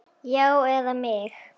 Já, eða mig?